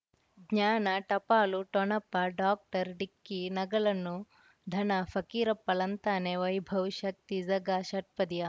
ಜ್ಞಾನ ಟಪಾಲು ಠೊಣಪ ಡಾಕ್ಟರ್ ಢಿಕ್ಕಿ ಣಗಳನು ಧನ ಫಕೀರಪ್ಪ ಳಂತಾನೆ ವೈಭವ್ ಶಕ್ತಿ ಝಗಾ ಷಟ್ಪದಿಯ